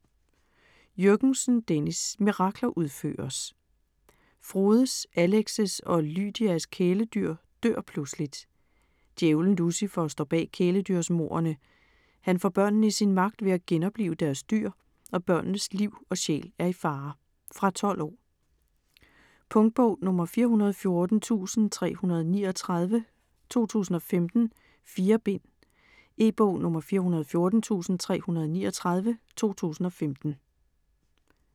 Jürgensen, Dennis: Mirakler udføres Frodes, Alex' og Lydias kæledyr dør pludseligt. Djævlen Lucifer står bag kæledyrsmordene. Han får børnene i sin magt ved at genoplive deres dyr, og børnenes liv og sjæl er i fare. Fra 12 år. Punktbog 414339 2015. 4 bind. E-bog 414339 2015.